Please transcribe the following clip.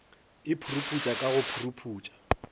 e puruputša ka go puruputša